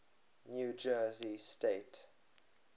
new jersey state